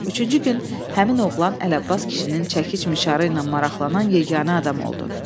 Üçüncü gün həmin oğlan Əli Abbas kişinin çəkiş-mişarı ilə maraqlanan yeganə adam oldu.